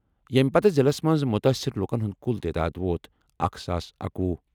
ییٚمہِ پتہٕ ضِلعس منٛز مُتٲثِر لُکن ہُنٛد کُل تعداد ووت اکھ ساس اکوہُ۔